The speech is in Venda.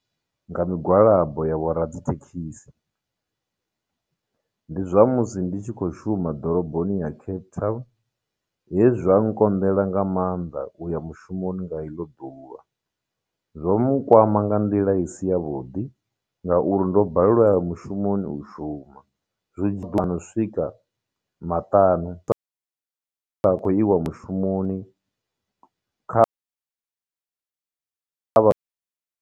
Nga migwalabo ya vho radzithekhisi. Ndi zwa musi ndi tshi khou shuma ḓoroboni ya Cape Town, he zwa nkonḓela nga maanḓa uya mushumoni nga iḽo ḓuvha. Zwo mu kwama nga nḓila i si yavhuḓi, ngauri ndo balelwa u ya mushumoni u shuma swika maṱanu sa khou iwa mushumoni kha kha vha .